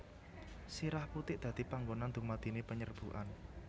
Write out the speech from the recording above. Sirah putik dadi panggonan dumadine penyerbukan